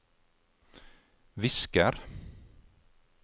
visker